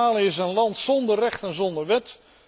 Somalië is een land zonder recht en zonder wet.